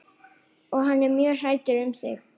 Og hann er mjög hræddur um þig.